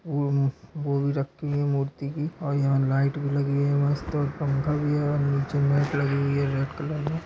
अम्म वो भी रखी हैं मूर्ति की और यहाँ लाइट भी लगी हैं मस्त और पंखा भी हैं और नीचे मेट लगी हुई हैं रेड कलर में--